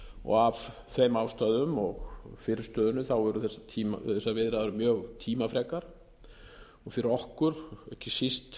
og af þeim ástæðum og fyrirstöðunni voru þessar viðræður mjög tímafrekar fyrir okkur ekki síst